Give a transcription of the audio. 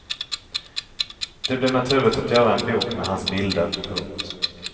Det blev naturligt att göra en bok med hans bilder. punkt